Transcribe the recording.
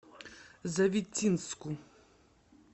завитинску